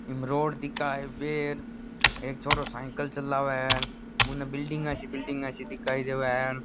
ईम रोड दिखे है हाईवे एक छोरो साइकिल चलावे है बुने बिल्डिंग सी बिल्डिंग सी दिखाई देवे है।